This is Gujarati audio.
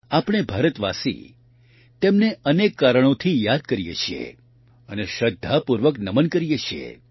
આપણે ભારતવાસી તેમને અનેક કારણોથી યાદ કરીએ છીએ અને શ્રદ્ધાપૂર્વક નમન કરીએ છીએ